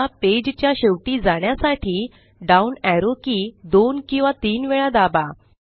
या पेज च्या शेवटी जाण्यासाठी डाउन एरो की दोन किंवा तीन वेळा दाबा